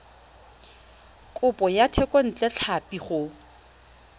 kopo ya thekontle tlhapi go